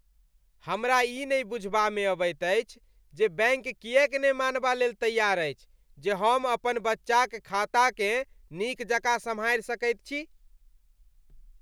हमरा ई नहि बुझबामे अबैत अछि जे बैंक किएक ने मानबालेल तैआर अछि जे हम अपन बच्चाक खाताकेँ नीक जकाँ सम्हारि सकैत छी।